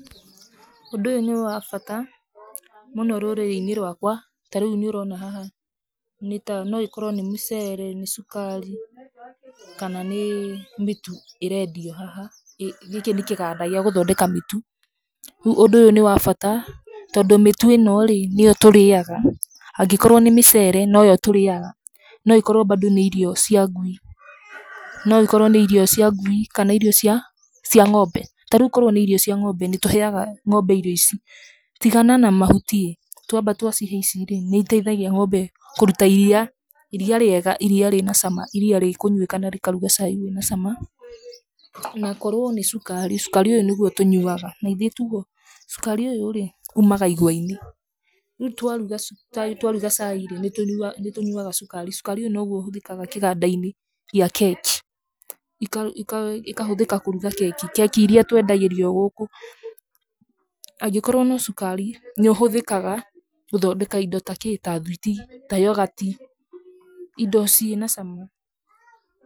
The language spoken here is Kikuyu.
Ũndũ ũyũ nĩ wa bata mũno rũrĩrĩ-inĩ rwakwa. Ta rĩu nĩ ũrona haha, nĩ ĩkorwo nĩ mĩcere, nĩ cukari, kana nĩ mĩtu ĩrendio haha. Gĩkĩ nĩ kĩganda gĩa gũthondeka mĩtu. Rĩu ũndũ ũyũ nĩ wa bata tondũ mĩtũ ĩno rĩ, nĩ yo tũrĩaga, angĩkorwo nĩ mĩcere no yo tũrĩaga. No ĩkorwo bado nĩ irio cia ngui, no ĩkorwo nĩ irio cia ngui kana irio cia ng'ombe. Ta rĩu korwo nĩ irio cia ng'ombe, nĩ tũheaga ng'ombe irio ici. Tigana na mahuti ĩ,twamba twa cihe ici rĩ, nĩ iteithagia ng'ombe kũruta iria, iria rĩega, iria rĩna cama, iria rĩkũnyuĩka na rĩkaruga cai wĩna cama. Na korwo nĩ cukari, cukari ũyũ nĩguo tũnyuaga, na ithĩ ti guo? Cukari ũyũ umaga igwa-inĩ. Rĩu twaruga twaruga cai rĩ, nĩ tũnyuaga nĩ tũnyuga cukari, cukari ũyũ no guo ũhũthĩkaga kĩganda-inĩ gĩa keki, ĩkahũthĩka kũruga keki, keki iria twendagĩrio gũkũ. Angĩkorwo no cukari, nĩ ũhũthĩkaga gũthondeka indo ta kĩ? ta thwiti, ta yogati, indo ciĩ na cama.